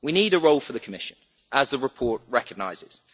We need a role for the Commission, as the report recognises.